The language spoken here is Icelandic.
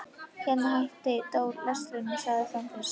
Hérna hætti Dóri lestrinum og starði fram fyrir sig.